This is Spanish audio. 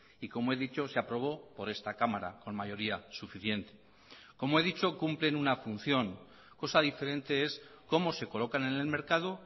y como he dicho se aprobó por esta cámara con mayoría suficiente como he dicho cumplen una función cosa diferente es cómo se colocan en el mercado